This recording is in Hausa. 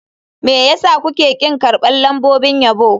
Me yasa kuke ƙin karɓar lambobin yabo.